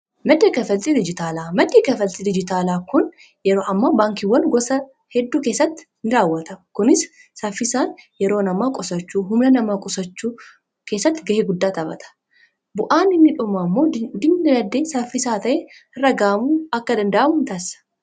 maddii kafaltii dijitaalaa maddii kafaltii dijitaalaa kun yeroo ammaa baankiiwwan gosa hedduu keessatti in raawwata kunis saaffisaan yeroo namaa qusachuu humna namaa qusachuu keessatti ga'ee guddaa taphata bu'aan inni biraan ammoo dinagdee saaffisaa ta'ee argaamu akka danda'amu taasisaa